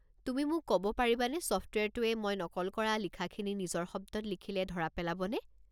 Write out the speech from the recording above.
তুমি মোক ক'ব পাৰিবানে ছফ্টৱেৰটোৱে মই নকল কৰা লিখাখিনি নিজৰ শব্দত লিখিলে ধৰা পেলাব নে?